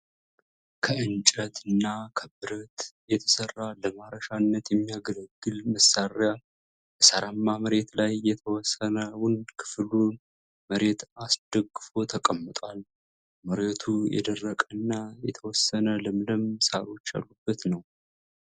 ከእንጨት እና ብረት የተሰራ ለማረሻነት የሚያገለግል መሳሪያ በሳራማ መሬት ላይ የተወሰነውን ክፍሉን መሬት አስደግፎ ተቀምጧል። መሬቱ የደረቀ እና የተወሰነ ለምለም ሳሮች ያሉበት ነው።